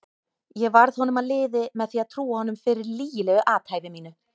Ég varð honum að liði með því að trúa honum fyrir lygilegu athæfi mínu.